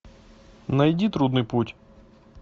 найди трудный путь